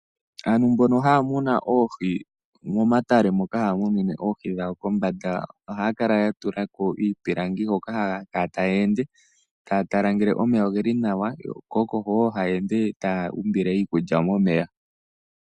Aantu mbono haya munu oohi momatale mono haya munine oohi dhawo, kombanda ohaya kala ya tula ko iipilangi hoka haya kala taya ende taya tala ngele omeya oge li nawa ko oko haya ende ngele taya umbile iikulya momeya.